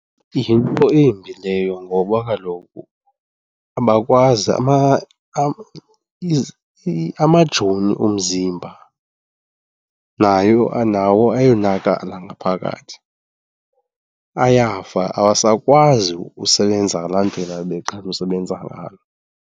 Yinto embi leyo ngoba kaloku abakwazi, amajoni omzimba nawo ayonakala ngaphakathi ayafa, awasakwazi usebenza ngalaa ndlela ebeqhele usebenza ngayo.